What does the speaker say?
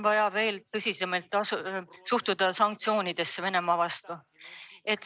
Vaja on veel tõsisemalt suhtuda sanktsioonidesse Venemaa vastu.